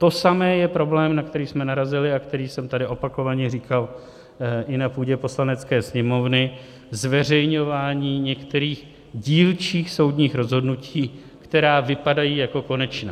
To samé je problém, na který jsme narazili a který jsem tady opakovaně říkal i na půdě Poslanecké sněmovny, zveřejňování některých dílčích soudních rozhodnutí, která vypadají jako konečná.